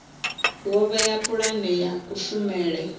wo vhea pulane ya kushumele